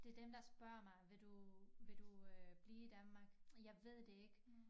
Til dem der spørger mig vil du vil du øh blive i Danmark jeg ved det ikke